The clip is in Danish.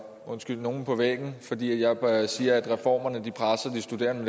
undskyld nogen på væggen fordi jeg siger at reformerne presser de studerende